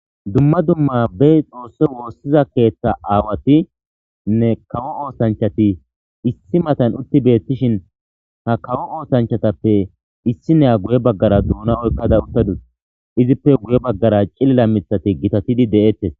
dumma dumma be xoosse woossiza keeththa aawati nne kawo oosanchati issi matan utti beettishin ha kawo oosanchatappe issi neya guye baggara duuna oykkada uttadus izippe guye baggara cilila mithati gitatidi de7eettes